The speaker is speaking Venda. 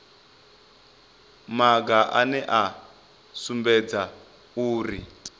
maga ane a sumbedza uri